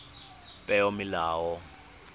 peomolao